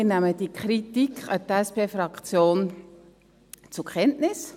Wir nehmen diese Kritik an die SP-Fraktion zur Kenntnis.